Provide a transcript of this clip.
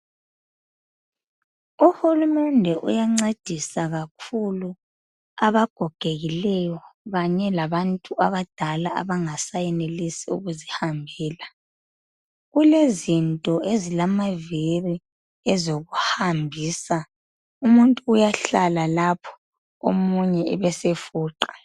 Uhulumende uyancedisa kakhulu abagogekileyo kanye labantu abadala abangasayenelisi ukuzihambela. Kulezinto ezilamaviri ezokuhambisa, umuntu uyahlala lapho omunye ebesefuqa.